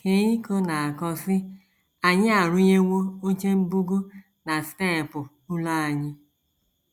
Keiko na - akọ, sị: “ Anyị arụnyewo oche mbugo na steepụ ụlọ anyị.